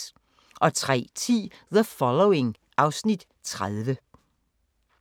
03:10: The Following (Afs. 30)